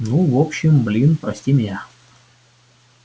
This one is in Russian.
ну в общем блин прости меня